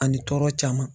Ani tɔɔrɔ caman